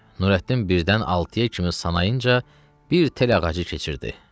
Nurəddin birdən altıya kimi sayınca bir tel ağacı keçirdi.